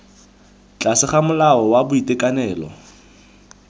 tlase ga molao wa boitekanelo